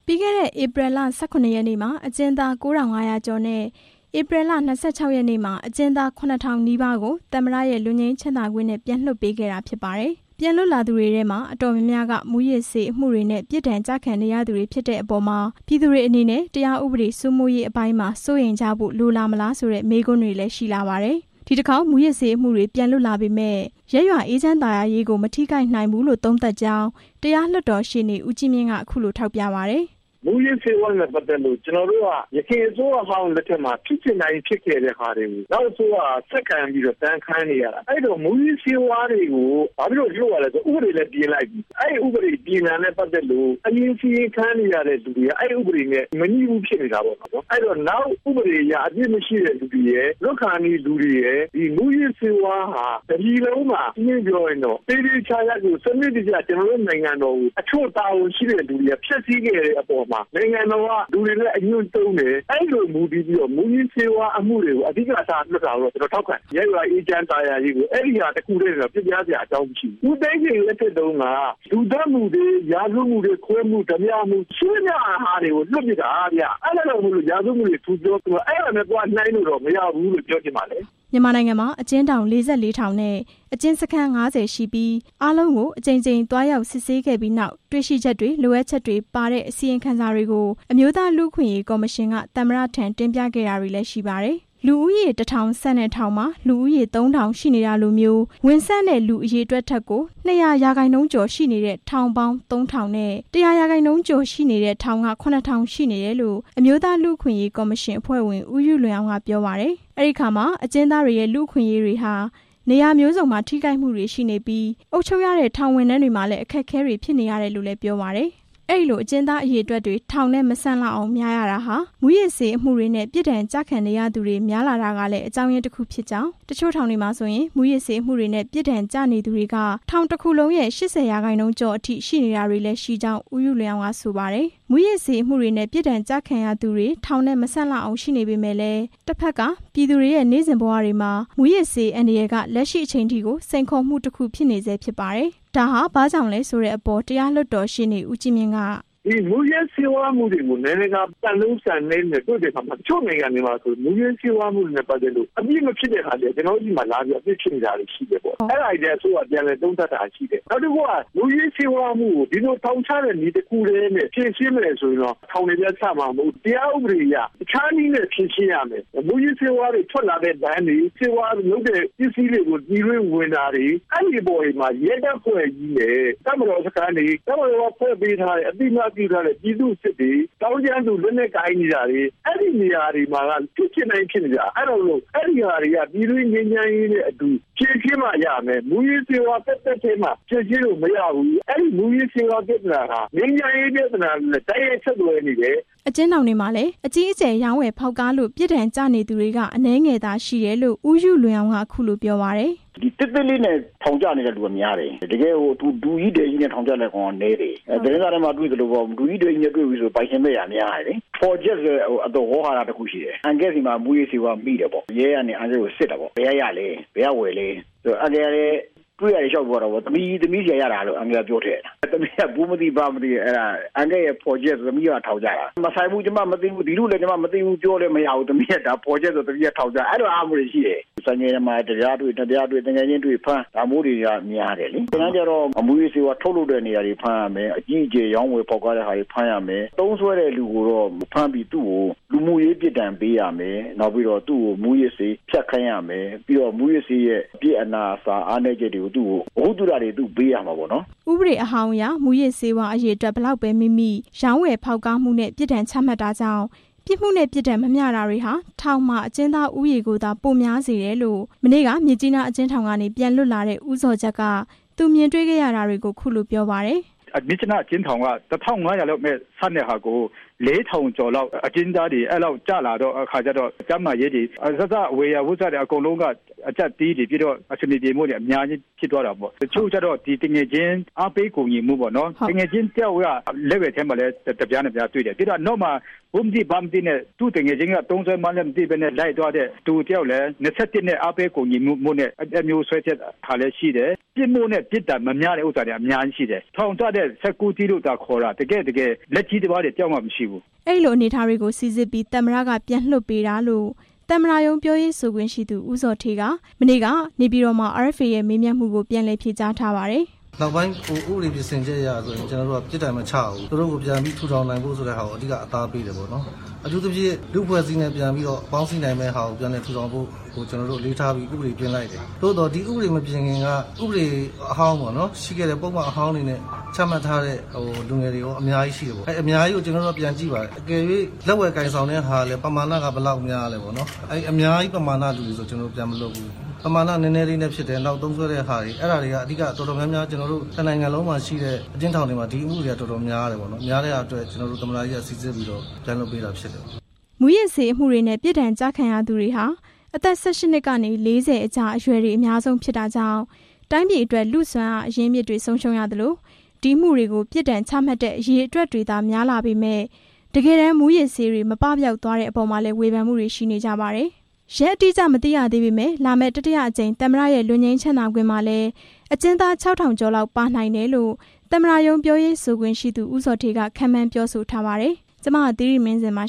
ပြီးခဲ့တဲ့ ဧပြီလ ၁၇ ရက်နေ့မှာ အကျဉ်းသား ၉၅၀၀ ကျော်နဲ့ ဧပြီလ ၂၆ ရက်နေ့မှာ အကျဉ်းသား ခုနှစ်ထောင်နီးပါးကို သမ္မတရဲ့လွတ်ငြိမ်းချမ်းသာခွင့်နဲ့ ပြန်လွှတ်ပေးခဲ့တာ ဖြစ်ပါတယ်။ ပြန်လွတ်လာသူတွေထဲမှာ အတော်များများက မူးယစ်ဆေးအမှုတွေနဲ့ ပြစ်ဒဏ်ကျခံနေရသူတွေဖြစ်တဲ့အပေါ်မှာ ပြည်သူတွေအနေနဲ့ တရားဥပဒေ စိုးမိုးရေးအပိုင်းမှာ စိုးရိမ်ကြဖို့လိုလာမလားဆိုတဲ့ မေးခွန်းတွေလည်း ရှိလာပါတယ်။ ဒီတစ်ခေါက် မူးယစ်ဆေးအမှုတွေ ပြန်လွတ်လာပေမယ့် ရပ်ရွာအေးချမ်းသာယာရေးကို မထိခိုက်နိုင်ဘူးလို့ သုံးသပ်ကြောင်း တရားလွှတ်တော်ရှေ့နေ ဦးကြီးမြင့် က အခုလို ထောက်ပြပါတယ်။ "မူးယစ်ဆေးဝါးနဲ့ပတ်သက်လို့ ကျွန်တော်တို့က အရင်အစိုးရလက်ထက်မှာ ဖြစ်ချင်တိုင်းဖြစ်ခဲ့တဲ့ဟာတွေကို နောက်အစိုးရက ဆက်ခံပြီးတော့ ဒဏ်ခံနေရတာ၊ မူးယစ်ဆေးဝါးတွေကို ဘာဖြစ်လို့လွှတ်ရလဲဆိုရင် ဥပဒေလည်းပြင်လိုက်ပြီ၊ အရင်စီရင်ခံနေရတဲ့လူတွေက အဲဥပဒေနဲ့ မညီဘူးဖြစ်နေတာပေါ့နော်၊ အဲတော့ နောက်ဥပဒေအရ အပြစ်မရှိတဲ့သူတွေရယ်၊ လွတ်ကာနီးလူတွေရယ်၊ ဒီမူးယစ်ဆေးဝါးဟာ ရှင်းရှင်းပြောရရင်တော့ တစ်ပြည်လုံးမှာ စနစ်တကျ ကျွန်တော်တို့နိုင်ငံတော်ကို အချို့တာဝန်ရှိတဲ့သူတွေက ဖျက်စီးခဲ့တဲ့အပေါ်မှာ နိုင်ငံတော်က လူတွေလည်း အညွန့်တုံးတယ်၊ အဲလိုမူတည်ပြီးတော့ မူးယစ်ဆေးဝါးအမှုတွေကို အဓိက ထား လွှတ်တာတော့ ကျွန်တော်ထောက်ခံတယ်၊ ရပ်ရွာအေးချမ်းသာယာရေးကို အဲဟာတစ်ခုတည်းနဲ့တော့ ပျက်ပြားစရာ အကြောင်းမရှိဘူး၊ ဦးသိန်းစိန် လက်ထက်တုန်းက လူသတ်မှုတွေ၊ ရာဇဝတ်မှုတွေ၊ ခိုးမှု၊ ဓါးပြမှု ရှိသမျှဟာတွေကို လွှတ်ပစ်တာဗျ၊ အဲဒါကြောင့်မို့ ရာဇဝတ်မှုတွေ ထူပြောပြီး၊ အဲတာနဲ့သွားနှိုင်းလို့တော့ မရဘူးလို့ ပြောချင်ပါတယ်" မြန်မာနိုင်ငံမှာ အကျဉ်းထောင် ၄၄ ထောင် နဲ့ အကျဉ်းစခန်း ၅၀ ရှိပြီး အားလုံးကို အကြိမ်ကြိမ်သွားရောက် စစ်ဆေးခဲ့ပြီးနောက် တွေ့ရှိချက်တွေ၊ လိုအပ်ချက်တွေပါတဲ့ အစီရင်ခံစာတွေကို အမျိုးသားလူ့အခွင့်အရေး ကော်မရှင်က သမ္မတထံ တင်ပြခဲ့တာတွေလည်း ရှိပါတယ်။ လူဦးရေ တစ်ထောင်ဆံ့တဲ့ထောင်မှာ လူဦးရေ သုံးထောင်ရှိနေတာလိုမျိုး ဝင်ဆံ့တဲ့ လူအရေအတွက်ထက်ကို ၂၀၀ % ကျော်ရှိနေတဲ့ ထောင်ပေါင်း သုံးထောင် နဲ့ ၁၀၀ % ကျော်နေတဲ့ ထောင်က ခုနှစ်ထောင်ရှိနေတယ်လို့ အမျိုးသားလူ့အခွင့်အရေးကော်မရှင်အဖွဲ့ဝင် ဦးယုလွင်အောင် က ပြောပါတယ်။ အဲဒီအခါမှာ အကျဉ်းသားတွေရဲ့ လူ့အခွင့်အရေးတွေဟာ နေရာမျိုးစုံမှာ ထိခိုက်မှုတွေရှိနေပြီး အုပ်ချုပ်ရတဲ့ ထောင်ဝန်ထမ်းတွေမှာလည်း အခက်အခဲတွေ ဖြစ်နေရတယ်လို့လည်း ပြောပါတယ်။ အဲလိုအကျဉ်းသားအရေအတွက်တွေ ထောင်မဆံ့လောက်အောင် များရတာဟာ မူးယစ်ဆေးအမှုတွေနဲ့ ပြစ်ဒဏ်ကျခံနေရသူတွေ များလာတာကလည်း အကြောင်းရင်းတစ်ခုဖြစ်ကြောင်း၊ တချို့ထောင်တွေမှာဆိုရင် မူးယစ်ဆေးအမှုတွေနဲ့ ပြစ်ဒဏ်ကျနေသူတွေက ထောင်တစ်ခုလုံးရဲ့ ၈၀ % ကျော်အထိရှိနေတာတွေလည်း ရှိကြောင်း ဦးယုလွင်အောင် က ဆိုပါတယ်။ မူးယစ်ဆေးအမှုတွေနဲ့ ပြစ်ဒဏ်ကျခံရသူတွေ ထောင်နဲ့မဆံ့လောက်အောင်ရှိနေပေမယ့်လည်း တစ်ဖက်က ပြည်သူတွေရဲ့ နေ့စဉ်ဘဝတွေမှာ မူးယစ်ဆေးအန္တရာယ်က လက်ရှိချိန်ထိကို စိန်ခေါ်မှုတစ်ခုဖြစ်နေဆဲ ဖြစ်ပါတယ်။ ဒါဟာ ဘာ့ကြောင့်ဆိုတဲ့အပေါ် တရားလွှတ်တော်ရှေ့နေ ဦးကြီးမြင့် က "ဒီမူးယစ်ဆေးဝါးအမှုတွေကို နိုင်ငံတကာစံနှုန်းတွေနဲ့ နှိုင်းတဲ့အခါမှာ တချို့နိုင်ငံတွေမှာ မူးယစ်ဆေးဝါးမှုတွေနဲ့ ပတ်သက်လို့ အပြစ်မဖြစ်တဲ့ဟာတွေက ကျွန်တော်တို့ဆီမှာလာပြီးတော့ အပြစ်ဖြစ်နေတာတွေရှိတယ်၊ အဲဒါကိုလည်း အစိုးရ ပြန်လည်သုံးသပ်တာတွေရှိတယ်၊ မူးယစ်ဆေးဝါးအမှုကို ဒီလိုထောင်ချတဲ့နည်းတစ်ခုတည်းနဲ့ ဖြေရှင်းမယ်ဆိုရင်တော့ ထောင်တွေလည်း ဆံ့မှာမဟုတ်ဘူး၊ တခြားနည်းနဲ့ ဖြေရှင်းရမယ်၊ မူးယစ်ဆေးဝါးတွေ ထွက်လာတဲ့ လမ်းတွေ၊ ဆေးဝါးလုပ်တဲ့ပစ္စည်းတွေကို ပြည်တွင်းဝင်တာတွေ အဲဒီအပေါ်တွေမှာ ရဲတပ်ဖွဲ့ကြီးရယ်၊ တပ်မတော်စခန်းတွေ၊ တပ်မတော်က ဖွဲ့ပေးထားတဲ့ အသိအမှတ်ပြုထားတဲ့ ပြည်သူ့စစ်တွေ၊ သောင်းကျန်းသူ လက်နက်ကိုင်နေရာတွေ အဲဒီနေရာတွေမှာက ဖြစ်ချင်တိုင်းဖြစ်နေတာ၊ အဲဟာတွေက ပြည်တွင်းငြိမ်းချမ်းရေးနဲ့ အတူဖြေရှင်းမှရမယ်၊ မူးယစ်ဆေးဝါးသက်သက်ထဲမှာ ဖြေရှင်းလို့မရဘူး၊ မူးယစ်ဆေးဝါး ပြဿနာဟာ ငြိမ်းချမ်းရေး ပြဿနာနဲ့လည်း တိုက်ရိုက်ဆက်သွယ်နေတယ်" အကျဉ်းထောင်တွေမှာလည်း အကြီးအကျယ်ရောင်းဝယ်ဖောက်ကားလို့ ပြစ်ဒဏ်ကျနေသူတွေက အနည်းငယ် ရှိတယ်လို့ ဦးယုလွင်အောင် က အခုလို ပြောပါတယ်။ "သေးသေးလေးနဲ့ ထောင်ကျနေတာက များတယ်၊ တကယ့် ဒုကြီးဒယ်ကြီးနဲ့ ထောင်ကျနေတာက နည်းတယ်၊ သတင်းစာထဲမှာတွေ့သလိုပေါ့၊ ဒုကြီးဒယ်ကြီးနဲ့တွေ့ပြီဆိုရင်တော့ ပိုင်ရှင်မဲ့တွေက များတယ်လေ၊ ဖော်ချက်ဆိုတဲ့ ဝေါဟာရတစ်ခုရှိတယ်၊ အန်ကယ့်ဆီမှာ မူးယစ်ဆေးမိတယ်ပေါ့၊ ရဲကစစ်တယ်ပေါ့၊ ဘယ်ကရလဲ၊ ဝယ်လဲ၊ အန်ကယ်ကလည်း တွေ့ရာတွေ လျှောက်ပြောတာပေါ့၊ သမီးဆီကရတာလို့ အန်ကယ်က ပြောထည့်လိုက်တာ၊ အဲဒါအန်ကယ့်ရဲ့ဖော်ချက် သမီးပါထောင်ကျတာ၊ ကျွန်မ မသိဘူး၊ ဒီလူ့ကိုလည်း ကျမမသိဘူး၊ ပြောလည်းမရဘူး၊ အဲလိုဟာမျိုးတွေရှိတယ်၊ တကယ်တမ်းကျတော့ မူးယစ်ဆေးဝါး ထုတ်လုပ်တဲ့နေရာတွေ အကြီးအကျယ် ရောင်းဝယ်ဖောက်ကားတဲ့နေရာတွေ ဖမ်းရမယ်" ဥပဒေအဟောင်းအရ မူးယစ်ဆေးဝါး အရေအတွက် ဘယ်လောက်ပဲမိမိ ရောင်းဝယ်ဖောက်ကားမှုနဲ့ ပြစ်ဒဏ် ချမှတ်တာကြောင့် ပြစ်မှုနဲ့ ပြစ်ဒဏ်မမျှတာတွေဟာ ထောင်မှာအကျဉ်းသားဦးရေကိုသာ ပိုများစေတယ်လို့ မနေ့က မြစ်ကြီးနားအကျဉ်းထောင်ကနေ ပြန်လွတ်လာတဲ့ ဦးဇော်ဂျတ် က သူမြင်တွေ့ခဲ့ရတာကို အခုလို ပြောပါတယ်။ "မြစ်ကြီးနား အကျဉ်းထောင်က ၁၅၀၀ လောက်ပဲဆံ့တာကို အကျဉ်းသားတွေ ၄ ထောင်ကျော်လောက် ကျလာတော့ ကျန်းမာရေးတွေ အစစ အရာရာ အဆင်မပြေမှုတွေ အများကြီးဖြစ်သွားတာပေါ့၊ တချို့ကျတော့ အားပေးကူညီမှုပေါ့၊ သူငယ်ချင်းတစ်ယောက်က လက်ဝယ် တစ်ပြား နှစ်ပြားတွေ့တယ်၊ အဲဒါကို သူ့သူငယ်ချင်းက သုံးစွဲမှန်းလည်း မသိဘဲနဲ့ လိုက်သွားတဲ့သူတစ်ယောက်လည်း အားပေးကူညီမှု ၂၁ နဲ့ အဲဒါမျိုး ဆွဲထည့်တာလည်း ရှိတယ်၊ ပြစ်မှုနဲ့ ပြစ်ဒဏ်မမျှတာတွေလည်းရှိတယ်၊ ထောင်ကျတဲ့ ၁၉ လို့သာပြောတာ တကယ့်တကယ် လက်ကြီးသမားတွေ တစ်ယောက်မှမရှိဘူး" အဲလိုအနေအထားတွေကို စိစစ်ပြီး သမ္မတက ပြန်လွှတ်ပေးတာလို့ သမ္မတရုံး ပြောရေးဆိုခွင့်ရှိသူ ဦးဇော်ဌေး က မနေ့က နေပြည်တော်မှာ RFA ရဲ့ မေးမြန်းမှုကို ပြန်လည်ဖြေကြားထားပါတယ်။ "ဥပဒေမပြင်ခင်က ဥပဒေအဟောင်း၊ ပုဒ်မအဟောင်းတွေနဲ့ ချမှတ်ထားတဲ့ လူငယ်တွေရော အများကြီးရှိတယ်၊ အဲအများကြီးကို ကျွန်တော်တို့က ပြန်ကြည့်ပါတယ်၊ လက်ဝယ်ကိုင်ဆောင်တဲ့ဟာလည်း ပမာဏက ဘယ်လောက်များလဲ၊ အများကြီး ပမာဏလူတွေဆို ပြန်မလွှတ်ဘူး၊ ပမာဏနည်းနည်းလေးနဲ့ ဖြစ်တယ်၊ သုံးစွဲတဲ့ဟာတွေက အဲတာတွေက အဓိက တော်တော်များများ ကျွန်တော်တို့ တစ်နိုင်ငံလုံးမှာရှိတဲ့ အကျဉ်းထောင်တွေမှာ ဒီအမှုတွေက တော်တော်များတယ်၊ အဲအတွက် ကျွန်တော်တို့ သမ္မတကြီးက စိစစ်ပြီး ပြန်လွှတ်ပေးတာ ဖြစ်တယ်" မူးယစ်ဆေးအမှုတွေနဲ့ ပြစ်ဒဏ်ကျခံရသူတွေဟာ အသက် ၁၈ ကနေ ၄၀ ကြားအရွယ်တွေ အများဆုံးဖြစ်တာ ကြောင့် တိုင်းပြည်အတွက် လူ့စွမ်းအားအရင်းအမြစ်တွေ ဆုံးရှုံးရသလို ဒီအမှုတွေကို ပြစ်ဒဏ်ချမှတ်တဲ့ အရေအတွက်တွေသာ များလာပေမယ့် တကယ်တမ်း မူးယစ်ဆေးတွေ မပပျောက်သွားတဲ့အပေါ်မှာလည်း ဝေဖန်မှုတွေရှိနေကြပါတယ်။ ရက်အတိအကျမသိရသေးပေမယ့် လာမယ့် တတိယအကြိမ် သမ္မတရဲ့ လွတ်ငြိမ်းချမ်းသာခွင့်မှာလည်း အကျဉ်းသား ၆ ထောင်ကျော်လောက်ပါနိုင်တယ်လို့ သမ္မတရုံး ပြောရေးဆိုခွင့်ရှိသူ ဦးဇော်ဌေး က ခန့်မှန်းပြောဆိုထားပါတယ်။ ကျွန်မ သီရိမင်းဇင် ပါ